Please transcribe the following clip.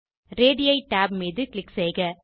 radii tab மீது click செய்க